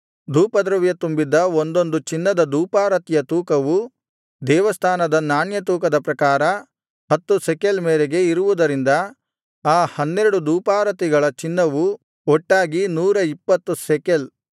ಧೂಪದ್ರವ್ಯ ತುಂಬಿದ್ದ ಒಂದೊಂದು ಚಿನ್ನದ ಧೂಪಾರತಿಯ ತೂಕವು ದೇವಸ್ಥಾನದ ನಾಣ್ಯ ತೂಕದ ಪ್ರಕಾರ ಹತ್ತು ಶೆಕೆಲ್ ಮೇರೆಗೆ ಇರುವುದರಿಂದ ಆ ಹನ್ನೆರಡು ಧೂಪಾರತಿಗಳ ಚಿನ್ನವು ಒಟ್ಟಾಗಿ 120 ಶೆಕೆಲ್